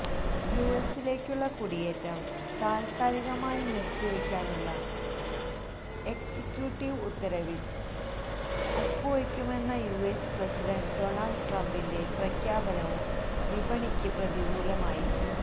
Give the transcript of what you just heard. യുഎസിലേക്കുള്ള കുടിയേറ്റം താൽക്കാലികമായി നിർത്തിവയ്ക്കാനുള്ള എക്സിക്യൂട്ടീവ് ഉത്തരവിൽ ഒപ്പുവെക്കുമെന്ന യുഎസ് പ്രസിഡന്റ് ഡോണൾഡ് ട്രംപിന്റെ പ്രഖ്യാപനവും വിപണിക്ക് പ്രതികൂലമായി